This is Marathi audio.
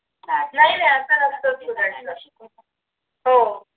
हो